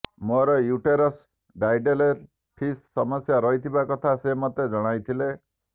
ମୋର uterus didelphys ସମସ୍ୟା ରହିଥିବା କଥା ସେ ମୋତେ ଜଣାଇଥିଲେ